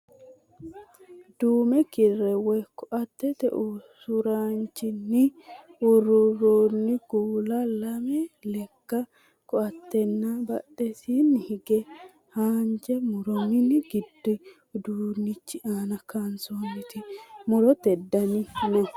Duume kirre woy koaattete usuraanchonni ururroonni kuula lame lekka koaattena badhesiinni hige haanja muro mini giddo uduunnichu aana kaansoonniti murote dani no.